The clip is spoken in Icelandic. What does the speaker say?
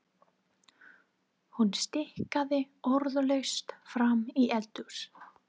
Hún stikaði orðalaust fram í eldhús.